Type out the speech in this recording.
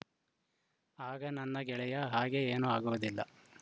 ಆಗ ನನ್ನ ಗೆಳೆಯ ಹಾಗೆ ಏನೂ ಆಗುವುದಿಲ್ಲ